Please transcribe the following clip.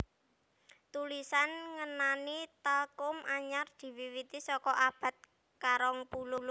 Tulisan ngenani talchum anyar diwiwiti saka abad karong puluh